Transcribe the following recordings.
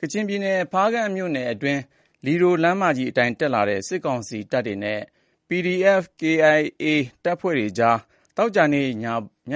ကချင်ပြည်နယ် ဖားကန့်မြို့နယ်အတွင်း လီဒိုလမ်းမကြီးအတိုင်းတက်လာတဲ့ စစ်ကောင်စီတပ်တွေနဲ့ KIA အကြားမှာ သောကြာနေ့ ည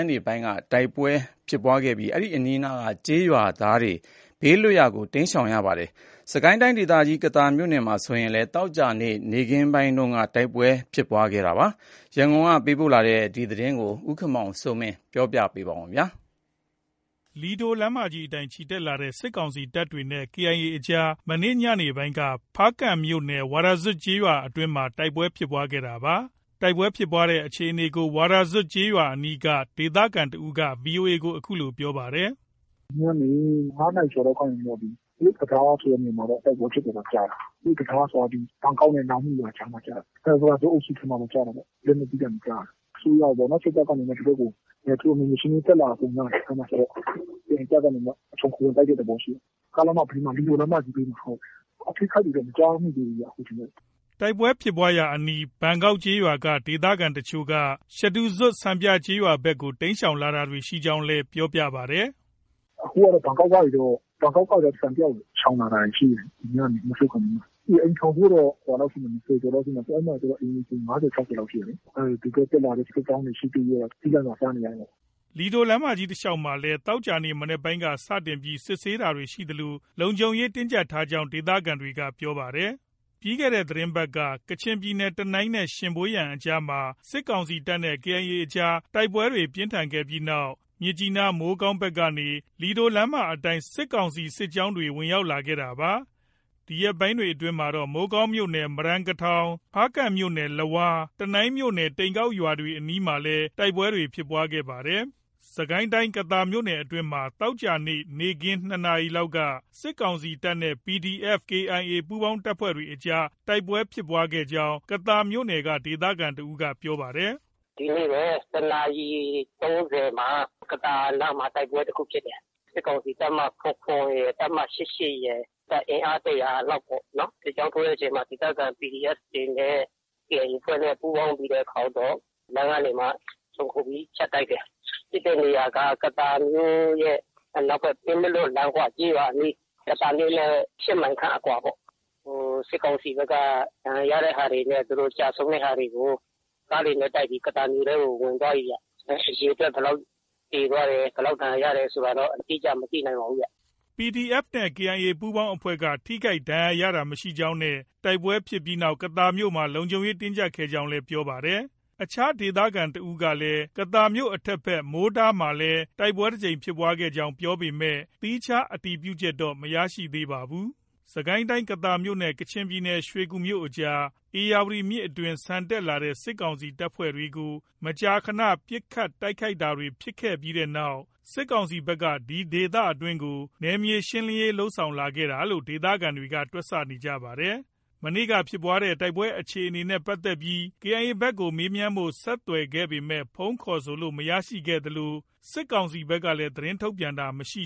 နေပိုင်းက တိုက်ပွဲဖြစ်ပွားခဲ့ပြီး တိုက်ပွဲဖြစ်ပွားရာအနီးက ကျေးရွာတွေဟာ ဘေးလွတ်ရာကို တိမ်းရှောင်နေပါတယ်။ စစ်ကိုင်းတိုင်းဒေသကြီး ကသာမြို့နယ်အတွင်းမှာလည်း သောကြာနေ့ နေ့ခင်းက တိုက်ပွဲဖြစ်ပွားတာတွေ ရှိခဲ့ပါတယ်။ ရန်ကုန်ကလာတဲ့ ဒီသတင်းကိုတော့ ကိုခင်မောင်စိုးမင်းက တင်ပြထားပါတယ်။ လီဒိုလမ်းမကြီးအတိုင်း ချီတက်လာနေတဲ့ စစ်ကောင်စီတပ်တွေနဲ့ KIA အကြားမှာ ဒီကနေ့ ညနေပိုင်းက ဖားကန့်မြို့နယ် ဝါရာဇွပ်ကျေးရွာအုပ်စုအတွင်းမှာ တိုက်ပွဲဖြစ်ပွားခဲ့တာပါ။ တိုက်ပွဲဖြစ်ပွားတဲ့အခြေအနေကို ဝါရာဇွပ်ကျေးရွာအနီးက ဒေသခံတစ်ဦးက VOA ကို အခုလို ပြောပါတယ်။ “ ဒီညနေ ၅နာရီကျော်လောက်ကနေ တရုတ် တံတားဆိုတဲ့နေရာမှာတော့ တိုက်ပွဲဖြစ်တယ်လို့ ကြားတယ်။ တရုတ်တံတားဆိုတာ ဘန်ကောက်နဲ့ နောင်မီးရွာကြားမှာ ကျတယ်။ ဝါးရာဇွပ်အုပ်စုထဲမှာပဲ ကျတာပေါ့။ အစိုးရပေါ့နော် စစ်တပ်ကနေပြီးတော့မှ ဒီဘက်ကို သူတို့ နယ်မြေရှင်းလင်းရေးတက်လာပုံရတယ်။ KIA တပ်ကနေပြီးတော့မှ ခြုံခို ဝင်တိုက်တဲ့သဘောရှိတယ်။ လက်နက်ကြီးသံတွေ ကြားရတယ်။ လမ်းမကြီးဘေးမှာ လီဒိုလမ်းမကြီးဘေးမှာ၊ အထိအခိုက်တွေတော့ မကြား မိသေးဘူးဗျ။” တိုက်ပွဲဖြစ်ပွားရာအနီး ဘန်ကောက်ကျေးရွာက ဒေသခံတချို့ဟာ ရှဒူဇွပ် စံပြကျေးရွာဘက်ကို တိမ်းရှောင်လာတာတွေ ရှိနေကြောင်းလည်း ပြောပါတယ်။ “ အခုကတော့ ဘန်ကောက်ကနေပြီးတော့ စံပြကျေးရွာကို ရှောင်လာတာတွေ ရှိတယ်။ ဒီညနေ မိုးချုပ်ခါနီးမှာ ၊ အိမ်ထောင်စု ၂၀ကျော်လောက်ရှိတယ်။ အဲဒီမှာ အိမ်ခြေ ၅၀- ၆၀ကျော်လောက် ရှိတယ်လေ။ ဒီဘက် တက်လာတဲ့ စစ်ကြောင်းတွေ ရှိသ၍ကတော့ ကျီးလန့်စာ စားနေရတာပေါ့။ ” လီဒိုလမ်းမကြီးတလျောက်မှာလည်း သောကြာနေ့ မနက်ပိုင်းက စတင်ပြီး စစ်ဆေးတာတွေ ရှိသလို လုံခြုံရေးတင်းကျပ်ထားကြောင်း ဒေသခံတွေက ပြောပါတယ်။ ပြီးခဲ့တဲ့အပတ်တွေက ကချင်ပြည်နယ် တနိုင်းနဲ့ ရှင်ဗွေယန်ကြားမှာ စစ်ကောင်စီတပ်နဲ့ KIA အကြား တိုက်ပွဲပြင်းထန်ခဲ့တဲ့နောက် မြစ်ကြီးနား၊ မိုးကောင်းဘက်ကနေ လီဒိုလမ်းမကြီးအတိုင်း စစ်ကောင်စီစစ်ကြောင်းတွေ ဝင်ရောက်လာခဲ့တာပါ။ ဒီရက်ပိုင်းတွေအတွင်းမှာတော့ မိုးကောင်းမြို့နယ် မရန်ကထောင်၊ ဖားကန့်မြို့နယ် လဝါး၊ တနိုင်းမြို့နယ် တိန်ကောက်ရွာတွေအနီးမှာလည် တိုက်ပွဲတွေဖြစ်ခဲ့ပါတယ်။ စစ်ကိုင်းတိုင်း ကသာမြို့နယ်အတွင်းမှာ သောကြာနေ့ နေ့ခင်း ၂နာရီလောက်က စစ်ကောင်စီတပ်နဲ့ PDF ၊ KIA ပူးပေါင်းတပ်တွေအကြား တိုက်ပွဲဖြစ်ပွားခဲ့ကြောင်း ကသာမြို့နယ်က ဒေသခံတစ်ဦးက ပြောပါတယ်။ “ ဒီနေ့ပဲ ၁နာရီ ၃၀မှာ ကသာနားမှာ တိုက်ပွဲတစ်ခုဖြစ်တယ်။ စစ်ကောင်စီ တပ်မ ၇၇ရယ်၊ ၈၈ ရယ် အင်အား ၁၀၀လောက်ပေါ့ စစ်ကြောင်း ထိုးတဲ့အချိန်မှာ ဒေသခံ PDF တွေနဲ့ KIA အဖွဲ့နဲ့ ပူးပေါင်းပြီးတဲ့အခါကျတော့ လမ်းကနေမှ ခြုံခိုပြီး ဖြတ်တိုက်တယ်။ ဖြစ်တဲ့နေရာက ကသာမြို့အနောက် ဖက် ပင်းမလွတ် လမ်းခွ ကျေးရွာအနီး ကသာမြို့နဲ့ ၈မိုင်ခန့် အကွာပေါ့။ စစ်ကောင်စီဘက် ဒဏ်ရာရတဲ့ဟာတွေနဲ့ ကျဆုံးတဲ့ဟာတွေကို ကားတွေနဲ့ တိုက်ပြီး ကသာမြို့ထဲကို ဝင်သွားပြီဗျ။ အရေအတွက် ဘယ်လောက် သေသွားတယ်။ ဘယ်လောက် ဒဏ်ရာရတယ်ဆိုတာတော့ အတိအကျ မသိနိုင်ပါဘူးဗျ။ ” PDF နဲ့ KIA ပူးပေါင်းအဖွဲ့က ထိခိုက်ဒဏ်ရာရတာမရှိကြောင်းနဲ့ တိုက်ပွဲဖြစ်ပြီးနောက် ကသာမြို့မှာ လုံခြုံရေးတင်းကျပ်ခဲ့ကြောင်းလည်း ပြောပါတယ်။ အခြားဒေသခံတစ်ဦးကလည်း ကသာမြို့ အထက်ဘက် မိုးတားမှာလည်း တိုက်ပွဲတစ်ကြိမ်ဖြစ်ခဲ့ကြောင်း ပြောပေမဲ့ သီးခြားအတည်ပြုချက်တော့ မရသေးပါဘူး။ စစ်ကိုင်းတိုင်းကသာမြို့နဲ့ ကချင်ပြည်နယ် ရွှေကူမြို့အကြား ဧရာဝတီမြစ်အတွင်း ဆန်တက်လာတဲ့ စစ်ကောင်စီတပ်တွေကို မကြာခန ပစ်ခတ်တိုက်ခိုက်တာတွေဖြစ်ခဲ့တဲ့နောက် စစ်ကောင်စီဘက်က ဒီဒေသအတွင်းကို နယ်မြေရှင်းလင်းရေးလုပ်ဆောင်လာတာလို့ ဒေသခံတွေ က တွက်ဆနေပါတယ်။ ဒီနေ့ ဖြစ်ပွားတဲ့တိုက်ပွဲအခြေအနေနဲ့ ပတ်သက်ပြီး KIA ဘက်ကို မေးမြန်းဖို့ ဆက်သွယ်ခဲ့ပေမဲ့ ဖုန်းခေါ်ဆိုလို့ မရခဲ့သလို စစ်ကောင်စီဘက်က သတင်းထုတ်ပြန်တာလည်း မရှိ